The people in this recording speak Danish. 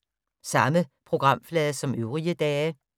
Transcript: Samme programflade som øvrige dage